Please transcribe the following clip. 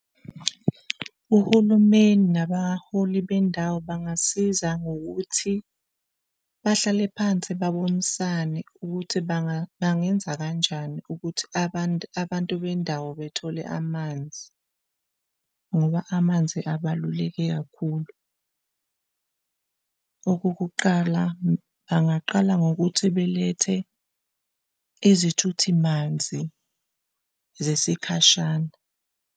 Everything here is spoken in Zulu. Uhulumeni nabaholi bendawo bangasiza ngokuthi bahlale phansi babonisane ukuthi bangenza kanjani ukuthi abantu abantu bendawo bethole amanzi, ngoba amanzi abaluleke kakhulu. Okokuqala bangaqala ngokuthi belethe izithuthi manzi zesikhashana.